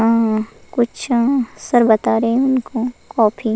अ कुछ सर बता रहे हैं उनको कॉपी --